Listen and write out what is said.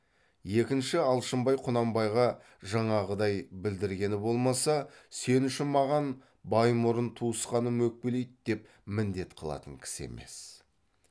екінші алшынбай құнанбайға жаңағыдай білдіргені болмаса сен үшін маған баймұрын туысқаным өкпеледі деп міндет қылатын кісі емес